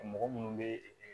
Mɔgɔ minnu bɛ